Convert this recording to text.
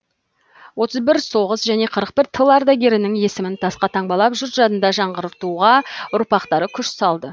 отыз бір соғыс және қырық бір тыл ардагерінің есімін тасқа таңбалап жұрт жадында жаңғыртуға ұрпақтары күш салды